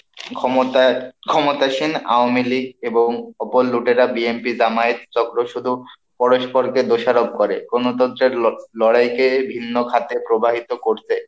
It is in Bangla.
ক্ষমতায় ক্ষমতাসীন আওমীলী এবং অপর লুঠেরা BNP জামায়েত চক্র শুধু পরস্পরকে দোষারোপ করে, গণতন্ত্রের লড়াইকে ভিন্ন খাতে প্রবাহিত করতে,